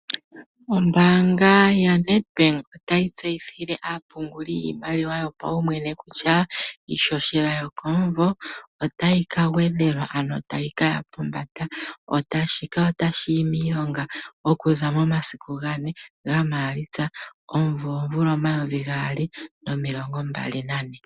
Ombaanga YaNedbank otayi tseyithile aapunguli yiimaliwa yopaumwene kutya iihohela yokomuvo otayi kagwedhelwa ano tayi kaya pombanda. Shika otashi yi miilonga okuza momasiku 4 Maalitsa 2024.